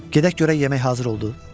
Gedək görək yemək hazır oldu?